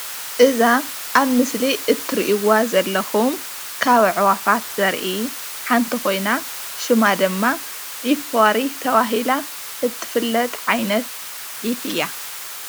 እዛ ኣብ ምስሊ እትሪእዋ ዘለኩም ካብ ኣዕዋፋት ዘርኢ ሓንቲ ኮይና ሽማ ድማ ዒፍ ዋሪ ተባሂላ እትፍለጥ ዓይነት ዒፍ እያ፡፡